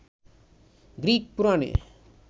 Greek পুরাণে